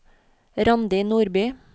Randi Nordby